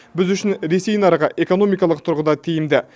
біз үшін ресей нарығы экономикалық тұрғыда тиімді